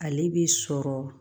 Ale bi sɔrɔ